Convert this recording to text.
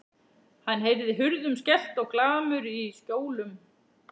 Hann heyrði hurðum skellt og glamur í skjólum.